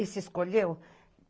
Esses escolheu?